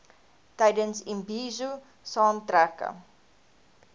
tydens imbizo saamtrekke